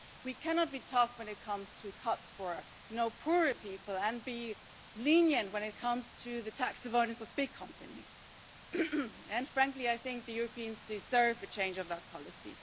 We cannot be tough when it comes to cuts for poorer people and be lenient when it comes to the tax avoidance of big companies. Frankly, I think the Europeans deserve a change of that policy.